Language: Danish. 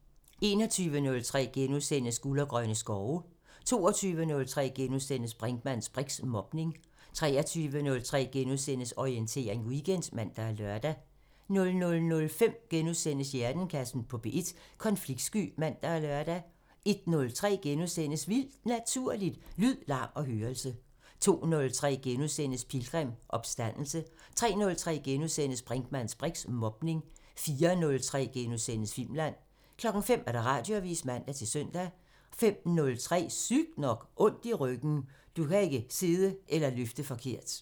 21:03: Guld og grønne skove * 22:03: Brinkmanns briks: Mobning * 23:03: Orientering Weekend *(man og lør) 00:05: Hjernekassen på P1: Konfliktsky *(man og lør) 01:03: Vildt Naturligt: Lyd, larm og hørelse * 02:03: Pilgrim – Opstandelse * 03:03: Brinkmanns briks: Mobning * 04:03: Filmland * 05:00: Radioavisen (man-søn) 05:03: Sygt nok: Ondt i ryggen – Du kan ikke sidde eller løfte forkert